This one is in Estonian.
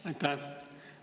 Aitäh!